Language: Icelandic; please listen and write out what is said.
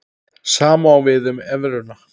Sama á við um evruna.